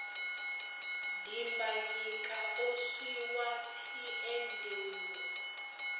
dimbanyika o swi wa tshiendeulu